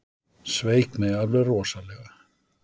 Sveik mig alveg rosalega.